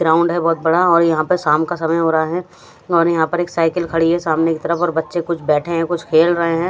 Ground हैं बहुत बड़ा और यहाँ पे शाम का समय हो रहा हैं और यहाँ पे एक साईकल खड़ी हैं सामने कि तरफ और बच्चे कुछ बेठे हैं कुछ खेल रहे हैं।